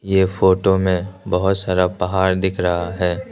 ये फोटो में बहुत सारा पहाड़ दिख रहा है।